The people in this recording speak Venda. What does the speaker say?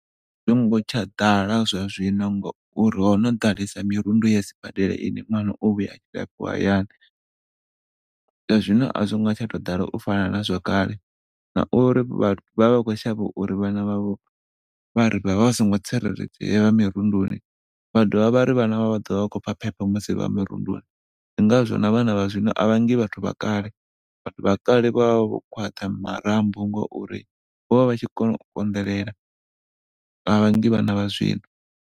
A zwi ngo tsha ḓala zwa zwino ngauri hono ḓalesa mirundu ya sibadela ine ṅwana o vhuya hayani. Zwa zwino a zwi ngo tou tsha ḓala u fana na zwakale ngauri vhathu vhavha vha khou shavha uri vhana vha vho vha songo tsireledzea vha mirunduni vha do vha vhari vhana vha vho vha ḓovha vha khou pfa phepho musi vha mirunduni ndi ngazwo na vhana vha zwino a vha ngi vhathu vha kale. Vhathu vha kale vha vho khwaṱha marambo ngauri vha tshi kona u konḓelela, a vhangi vhana vha zwino.